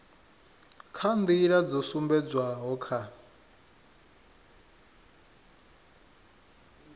kha nḓila dzo sumbedzwaho kha